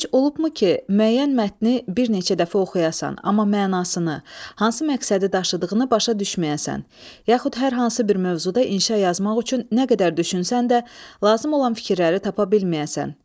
Heç olubmu ki, müəyyən mətni bir neçə dəfə oxuyasan, amma mənasını, hansı məqsədi daşıdığını başa düşməyəsən, yaxud hər hansı bir mövzuda inşa yazmaq üçün nə qədər düşünsən də, lazım olan fikirləri tapa bilməyəsən?